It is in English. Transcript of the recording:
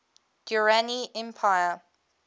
durrani empire